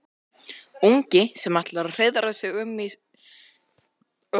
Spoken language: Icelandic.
Ungi sem ætlar að hreiðra um sig í eggjaskurn.